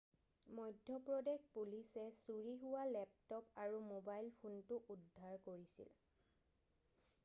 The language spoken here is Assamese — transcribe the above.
মধ্যপ্ৰদেশ পুলিচে চুৰি হোৱা লেপটপ আৰু মোবাইল ফোনটো উদ্ধাৰ কৰিছিল